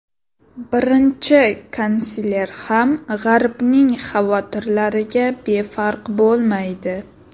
Birinchi kansler ham g‘arbning xavotirlariga befarq bo‘lmaydi.